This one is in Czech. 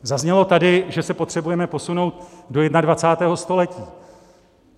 Zaznělo tady, že se potřebujeme posunout do 21. století.